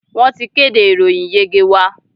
Wọ́n ti kéde ìròyìn ìyege wa.